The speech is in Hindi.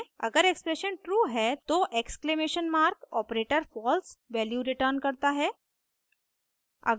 अगर एक्सप्रेशन ट्रू है तो exclamation mark operator false value return करता है